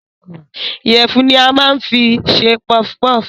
Ìyẹ̀fun ni a máa ń fi ń ṣe pọfpọf